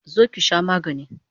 Zo ki sha magani!